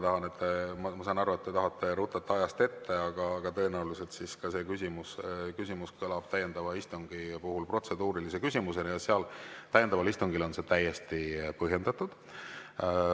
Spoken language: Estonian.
Ma saan aru, et te tahate rutata ajast ette, tõenäoliselt see küsimus kõlab täiendava istungi puhul protseduurilise küsimusena ja täiendaval istungil on see täiesti põhjendatud.